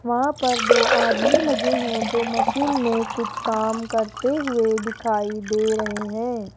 वहां पर दो आदमी लगे हैं जो मशीन में कुछ काम करते हुए दिखाई दे रहे हैं।